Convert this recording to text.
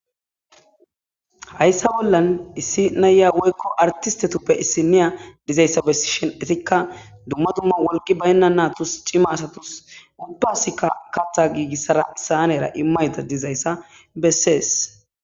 Hayssa bollan issi naya woykko artistetuppe issi niya dizayssa bessi shenetikka dumma dumma wolqi baynna natus cima asatus uddasikka katha giigissara saanera immayta dizayssa bessees.